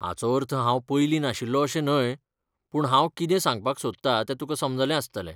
हाचो अर्थ हांव पयलीं नाशिल्लो अशें न्हय, पूण हांव कितें सांगपाक सोदतां तें तुकां समजलें आसतलें.